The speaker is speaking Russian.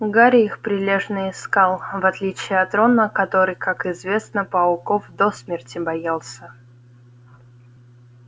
гарри их прилежно искал в отличие от рона который как известно пауков до смерти боялся